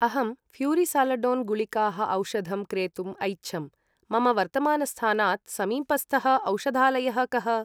अहं फ्यूरिसालडोन् गुलिकाः औषधं क्रेतुम् ऐच्छम्, मम वर्तमानस्थानात् समीपस्थः औषधालयः कः?